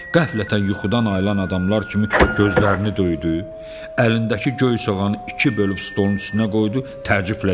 Qəflətən yuxudan ayılan adamlar kimi gözlərini döydü, əlindəki göy soğan iki bölüb stolun üstünə qoydu, təəccüblə dilləndi.